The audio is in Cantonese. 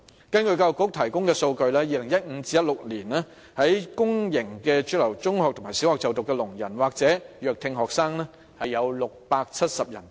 根據教育局提供的數據 ，2015 年至2016年，在公營主流中學和小學就讀的聾人或弱聽學生多達670人。